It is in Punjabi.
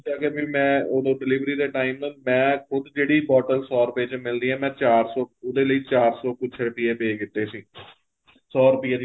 ਉੱਥੇ ਆਕੇ ਫ਼ਿਰ ਮੈਂ ਉਦੋਂ delivery ਦੇ time ਆ ਮੈਂ ਖੁੱਦ ਜਿਹੜੀ bottle ਸੋ ਰੁਪਏ ਚ ਮਿਲਦੀ ਏ ਮੈਂ ਚਾਰ ਸੋ ਉਹਦੇ ਲਈ ਚਾਰ ਸੋ ਕੁੱਝ ਰੁਪਇਆ ਦਿੱਤੇ ਸੀ ਸੋ ਰੁਪਏ